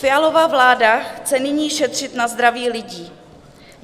Fialova vláda chce nyní šetřit na zdraví lidí.